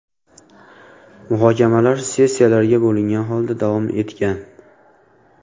Muhokamalar sessiyalarga bo‘lingan holda davom etgan.